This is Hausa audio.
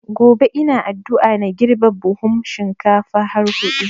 Gobe ina addua na girbe buhun shinkafa har hudu